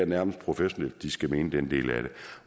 nærmest professionelt at de skal mene den del af det